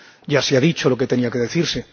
Ya se ha dicho lo que tenía que decirse.